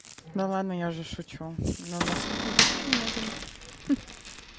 да ладно я же шучу но нас тут не так уж и много ха-ха